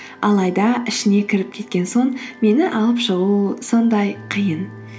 алайда ішіне кіріп кеткен соң мені алып шығу сондай қиын